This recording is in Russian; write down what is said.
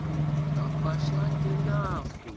да пошла ты нахуй